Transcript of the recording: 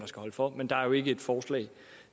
skal holde for men der er jo ikke et forslag